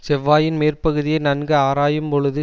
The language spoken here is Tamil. செவ்வாயின் மேற்பகுதியை நன்கு ஆராயும் பொழுது